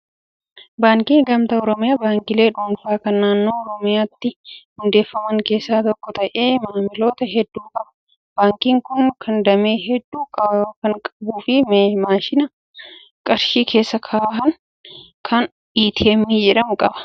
Baankiin gamtaa oromiyaa baankiilee dhuunfaa kan naannoo oromiyaatti hundeeffaman keessaa tokko ta'ee maamiloota hedduu qaba. Baankiin kun damee hedduu kan qabuu fi maashina qarshii keessaa baasan kan "ATM" jedhamu qaba.